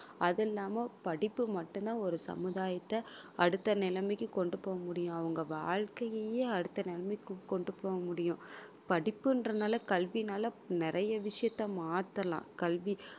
அது இல்லாம படிப்பு மட்டும்தான் ஒரு சமுதாயத்தை அடுத்த நிலைமைக்கு கொண்டு போக முடியும் அவங்க வாழ்க்கையையே அடுத்த நிலைமைக்கு கொண்டு போக முடியும் படிப்புன்றதுனால கல்வியினால நிறைய விஷயத்தை மாத்தலாம் கல்வி